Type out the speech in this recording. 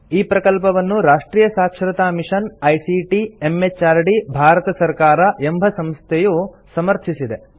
ಈ ಪ್ರಕಲ್ಪವನ್ನು ರಾಷ್ಟ್ರಿಯ ಸಾಕ್ಷರತಾ ಮಿಷನ್ ಐಸಿಟಿ ಎಂಎಚಆರ್ಡಿ ಭಾರತ ಸರ್ಕಾರ ಎಂಬ ಸಂಸ್ಥೆಯು ಸಮರ್ಥಿಸಿದೆ